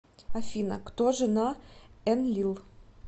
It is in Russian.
афина кто жена энлил